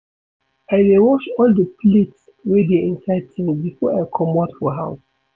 I dey wash all di plates wey dey inside sink before I comot for house.